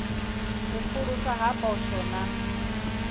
u pfuluswa ha poswo na